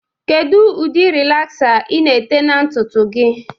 Kedu ụdị rịlaxa ị na-ete na ntutu gị?